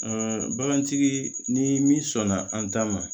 bagantigi ni min sɔnna an ta ma